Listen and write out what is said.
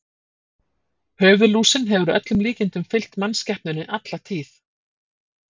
Höfuðlúsin hefur að öllum líkindum fylgt mannskepnunni alla tíð.